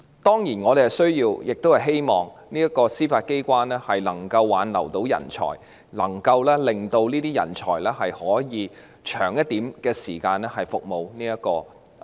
當然，我們需要並希望司法機關能夠挽留人才，讓這些人才可以在司法機關服務長久一點。